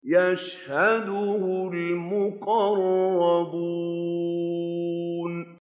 يَشْهَدُهُ الْمُقَرَّبُونَ